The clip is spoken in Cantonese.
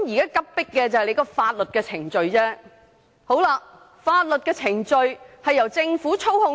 有急迫性的是法律程序，而法律程序由政府操控。